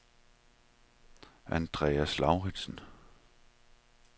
Andreas Lauritsen